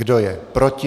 Kdo je proti?